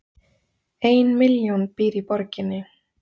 Ein milljón býr í borginni